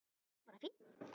Ég er bara fínn!